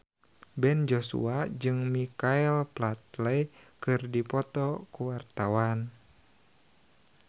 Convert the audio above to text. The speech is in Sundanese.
Ben Joshua jeung Michael Flatley keur dipoto ku wartawan